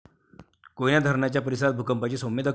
कोयना धरणाच्या परिसरात भूकंपाचे सौम्य धक्के